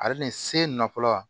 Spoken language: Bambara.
Ale nin se na fɔlɔ